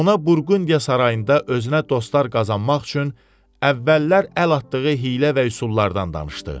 Ona Burqundiya sarayında özünə dostlar qazanmaq üçün əvvəllər əl atdığı hiylə və üsullardan danışdı.